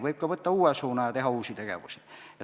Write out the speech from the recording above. Võib ka võtta uue suuna ja teha uusi tegevusi.